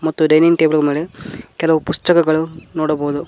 ಮತ್ತು dining table ಮೇಲೆ ಕೆಲವು ಪುಸ್ತಕಗಳನ್ನು ನೋಡಬಹುದು.